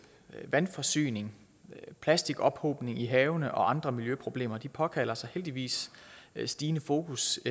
vandforsyning og plastikophobning i havene og andre miljøproblemer påkalder sig heldigvis stigende fokus